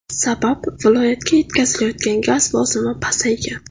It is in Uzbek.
Sabab viloyatga yetkazilayotgan gaz bosimi pasaygan.